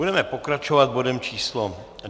Budeme pokračovat bodem číslo